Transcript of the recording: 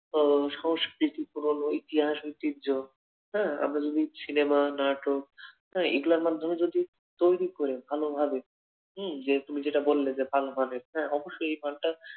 আহ সংস্কৃতি পূরণ ও ইতিহাস ঐতিহ্য, হ্যাঁ আমরা যদি সিনেমার নাটক হ্যাঁ এগুলোর মাধ্যমে যদি তৈরি করি ভালোভাবে হম তুমি যেটা বললে যে ভালো মানের হ্যাঁ, অবশ্যই এই মানটা